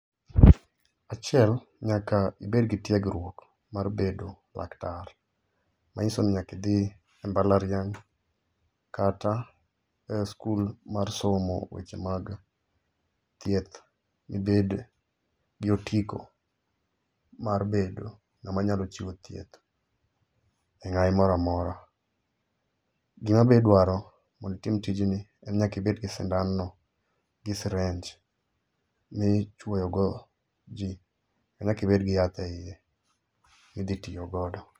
Achiel, nyaka ibed gi tiegruok mar bedo laktar manyisoni nyaka idhi e mbalariany kata e skul mar somo weche mag thieth ibed gi otiko mar bedo ngama nyalo chiwo thieth e ngai moro amora. Gima be idwaro mondo itim tijni en ni nyaka ibedgi sindan no gi syringe mai ichuoyo go jii, ma nyaka bedgi yath eiye ma itiyo go